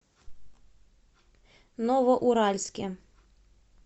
новоуральске